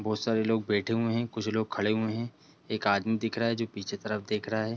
बहोत सारे लोग बैठे हुए हैं कुछ लोग खड़े हुए हैं एक आदमी दिख रहा है जो पीछे तरफ देख रहा है।